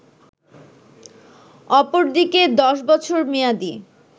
অপরদিকে ১০ বছর মেয়াদি